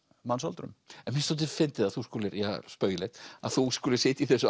mannsöldrum mér finnst dálítið fyndið að þú skulir ja spaugilegt að þú skulir sitja í þessu